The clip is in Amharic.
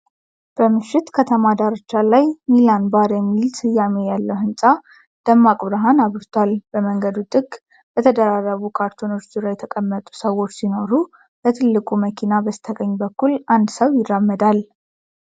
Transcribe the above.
በምሽት ከተማ ዳርቻ ላይ፣ 'ሚላን ባር' የሚል ስያሜ ያለው ህንፃ ደማቅ ብርሃን አብርቷል። በመንገዱ ጥግ በተደራረቡ ካርቶኖች ዙሪያ የተቀመጡ ሰዎች ሲኖሩ፣ በትልቁ መኪና በስተቀኝ በኩል አንድ ሰው ይራመዳል።